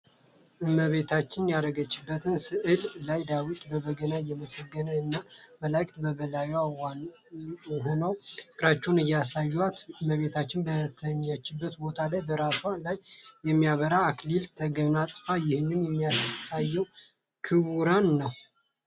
እመቤታችን ያረገችበት ስእል ላይ ዳዊት በበገና እያመሰገናት እና መላእክት በበላይዋ ሆነው ፍቅራቸውን ያሳዩአታል። እመቤታችን በተኛችበት ቦታ ላይ በራሷ ላይ የሚያበራ አክሊልን ተጎናጽፋለች ይህ የሚያሳየው ክብሯን ነው።